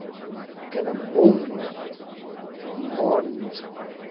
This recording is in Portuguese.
Porque eram bombas enormes.